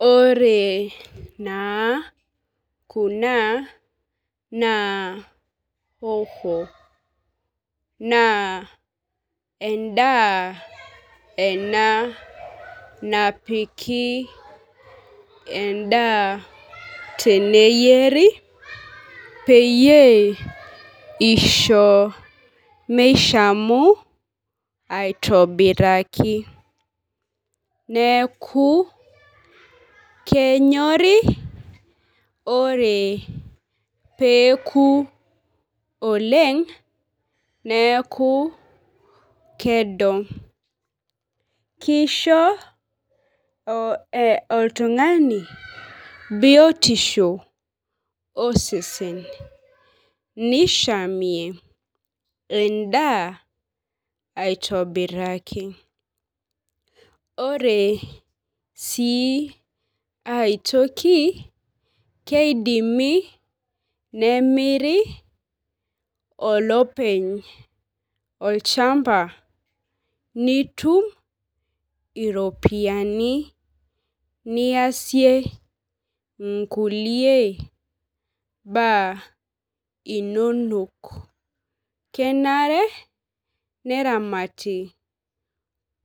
Ore naa kunaa naa hoho. Naa edaa ena napiki edaa teneyieri pee isho mishamu iatobiraki . Neeku kenyori ore peeku oleng' neeku kedo. Kisho oltung'ani biotisho osesen nisahmie edaa aitobiraki. Oree sii aitoki kidimi nemirii olepeny olchamba nitum iropiani niyasie inkulie baa inonok kenare neramati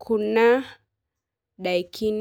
kuna daikin.